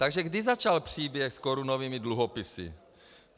Takže kdy začal příběh s korunovými dluhopisy?